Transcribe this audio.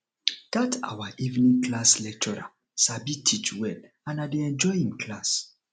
dat our evening class lecturer sabi teach well and i dey enjoy im class